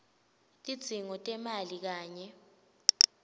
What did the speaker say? tidzingo tetimali kanye